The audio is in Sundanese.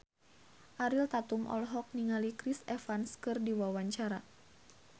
Ariel Tatum olohok ningali Chris Evans keur diwawancara